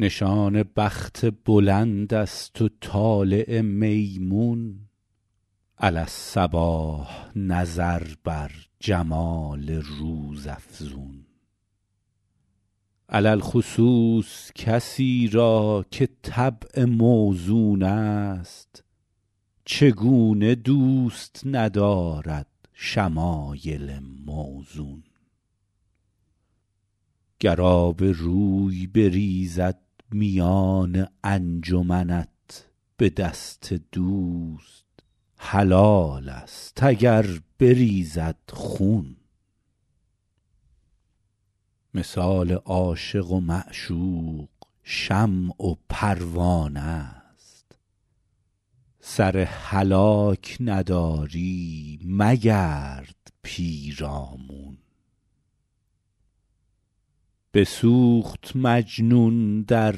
نشان بخت بلند است و طالع میمون علی الصباح نظر بر جمال روزافزون علی الخصوص کسی را که طبع موزون است چگونه دوست ندارد شمایل موزون گر آبروی بریزد میان انجمنت به دست دوست حلال است اگر بریزد خون مثال عاشق و معشوق شمع و پروانه ست سر هلاک نداری مگرد پیرامون بسوخت مجنون در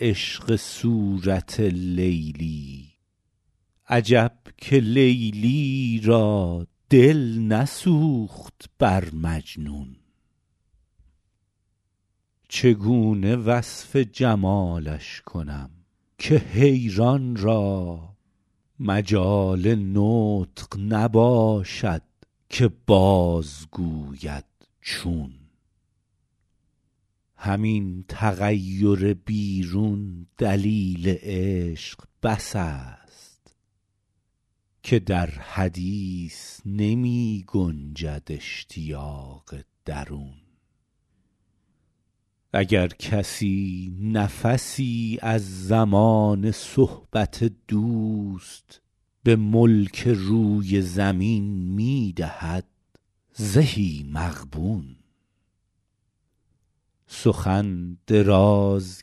عشق صورت لیلی عجب که لیلی را دل نسوخت بر مجنون چگونه وصف جمالش کنم که حیران را مجال نطق نباشد که بازگوید چون همین تغیر بیرون دلیل عشق بس است که در حدیث نمی گنجد اشتیاق درون اگر کسی نفسی از زمان صحبت دوست به ملک روی زمین می دهد زهی مغبون سخن دراز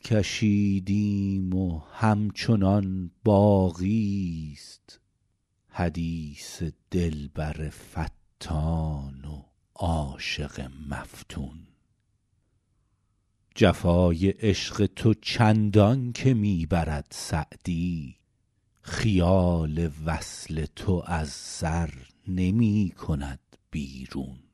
کشیدیم و همچنان باقی ست حدیث دلبر فتان و عاشق مفتون جفای عشق تو چندان که می برد سعدی خیال وصل تو از سر نمی کند بیرون